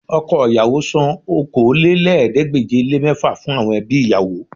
Ọkọ ìyàwó san Okòólélẹ́ẹ̀ẹ́dégbèje-le-mẹ́fà fún àwọn ẹbí ìyàwó rẹ̀